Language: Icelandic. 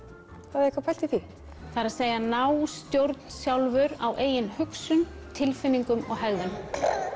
hafiði eitthvað pælt í því það er að ná stjórn sjálfur á eigin hugsun tilfinningum og hegðun